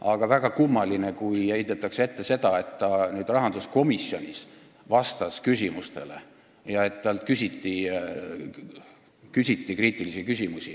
Aga väga kummaline on, kui nüüd heidetakse ette seda, et ta rahanduskomisjonis vastas küsimustele ja et talt küsiti kriitilisi küsimusi.